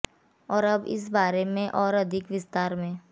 और अब इस बारे में और अधिक विस्तार में